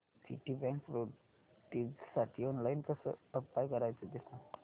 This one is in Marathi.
सिटीबँक प्रेस्टिजसाठी ऑनलाइन कसं अप्लाय करायचं ते सांग